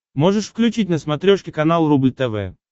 можешь включить на смотрешке канал рубль тв